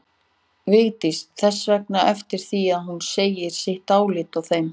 Vigdís þess vegna eftir því að hún segði sitt álit á þeim.